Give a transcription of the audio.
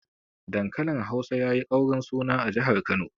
Dankalin Hausa yayi ƙaurin suna a jihar Kano.